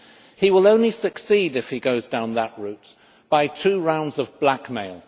He will only succeed, if he goes down that route, by two rounds of blackmail.